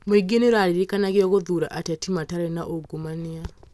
Mũingĩ nĩ ũririkanagwo gũthuura ateti matarĩ na ungumania